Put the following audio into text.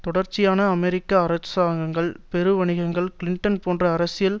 தொடர்ச்சியான அமெரிக்க அரசாங்கங்கள் பெரு வணிகங்கள் கிளின்டன் போன்ற அரசியல்